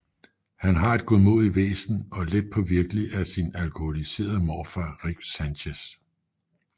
Han har et godmodigt væsen og let påvirkelig af sin alkoholiserede morfar Rick Sanchez